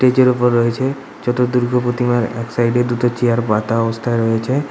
Stage -এর উপর রয়েছে চতুর দুর্গা প্রতিমার এক সাইড -এ দুটো চেয়ার পাতা অবস্থায় রয়েছে।